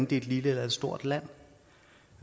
det er et lille eller et stort land